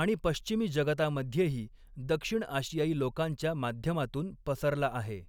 आणि पश्चिमी जगतामध्येही दक्षिण आशियाई लोकांच्या माध्यमातून पसरला आहे.